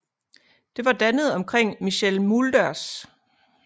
Det var dannet omkring Michel Mulders